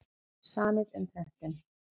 Samið um prentun